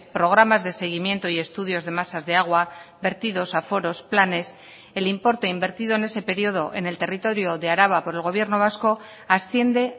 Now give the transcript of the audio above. programas de seguimiento y estudios de masas de agua vertidos aforos planes el importe invertido en ese periodo en el territorio de araba por el gobierno vasco asciende